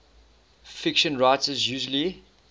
fiction writers usually